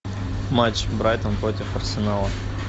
матч брайтон против арсенала